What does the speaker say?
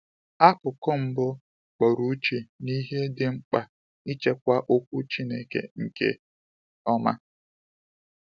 Akụkụ mbụ kpọrọ uche n’ihe dị mkpa ịchịkwa Okwu Chineke nke ọma.